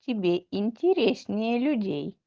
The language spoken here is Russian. тебе интереснее людей